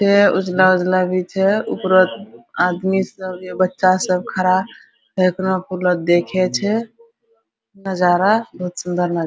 उजला-उजला दी छे उपरा आदमी सब बच्चा सब खड़ा देखे छे नज़ारा सूंदर नज़ारा --